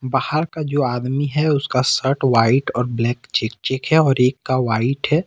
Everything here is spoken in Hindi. बाहर का जो आदमी है उसका शर्ट व्हाइट और ब्लैक चेक चेक है और एक का वाइट है।